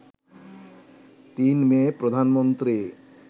৩ May, Pradhan Mantri